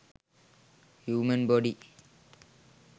human body